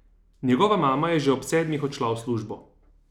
Njegova mama je že ob sedmih odšla v službo.